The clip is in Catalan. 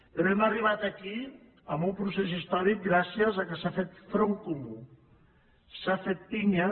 però hem arribat aquí amb un procés històric gràcies al fet que s’ha fet front comú s’ha fet pinya